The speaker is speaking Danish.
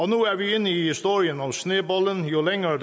nu er vi inde i historien om snebolden jo længere